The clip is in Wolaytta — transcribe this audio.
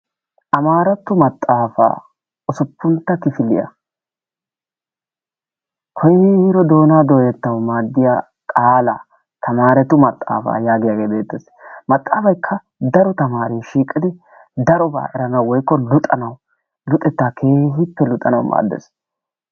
Amaaratto maxaafa usuppuntta kifiliya koyro doonaa dooyettawu maaddiya qaalaa tamaaretu maxaafa yaagiyagee beettes. Maxaafaykka daro tamaare shiiqidi darobaa eranawu woykko luxanawu luxettaa keehippe luxanawu maaddes.